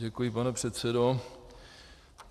Děkuji, pane předsedo.